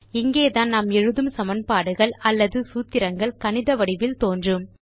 இங்கேதான் நாம் எழுதும் சமன்பாடுகள் அல்லது சூத்திரங்கள் கணித வடிவில் தோன்றும்